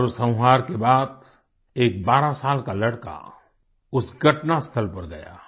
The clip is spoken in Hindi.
इस नरसंहार के बाद एक बारह साल का लड़का उस घटनास्थल पर गया